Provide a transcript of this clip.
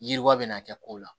Yiriwa bɛna kɛ kow la